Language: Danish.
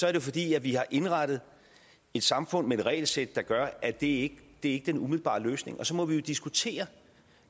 er det fordi vi har indrettet et samfund med et regelsæt der gør at det ikke umiddelbart er løsningen og så må vi jo diskutere